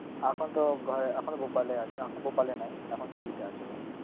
এখনতো ঘরে এখন ভোপালে আছে, এখন ভোপালে নেই এখন সিধি তে আছে ও